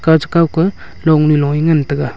ka che kao ka long ze long he ngan taega.